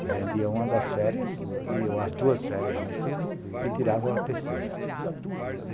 E vendia uma das férias, ou as duas férias vencidas, e tirava a terceira.